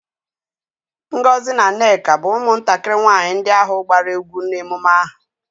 Ngozi na Nneka bu umuntakiri nwanyi ndi ahu gbara egwu n'emume aha.